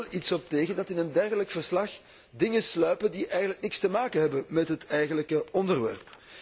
Ik heb er wel iets op tegen dat in een dergelijk verslag dingen sluipen die eigenlijk niets te maken hebben met het eigenlijke onderwerp.